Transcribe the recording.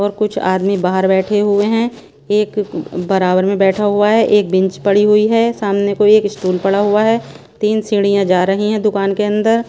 और कुछ आदमी बाहर बैठे हुए हैं एक बराबर में बैठा हुआ हैं एक बिंच पड़ी हुई हैं सामने कोई एक स्टूल पड़ा हुआ हैं तीन सीढ़ियां जा रही हैं दुकान के अंदर--